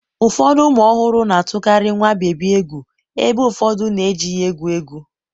ụfọdụ ụmụ ọhụrụ na-atụkarị nwa bebi egwu ebe ụfọdụ na-eji ya egwu egwu.